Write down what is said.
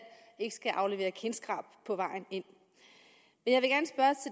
skal aflevere kindskrab på vejen ind